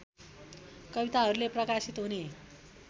कविताहरूले प्रकाशित हुने